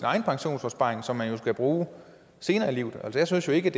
egen pensionsopsparing som man jo skal bruge senere i livet jeg synes ikke